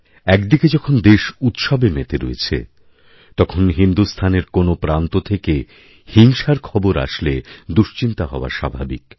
একদিকে যখন দেশ উৎসবে মেতে রয়েছে তখন হিন্দুস্থানের কোনোপ্রান্ত থেকে হিংসার খবর আসলে দুশ্চিন্তা হওয়া স্বাভাবিক